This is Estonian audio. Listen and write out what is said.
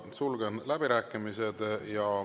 Sulgen läbirääkimised.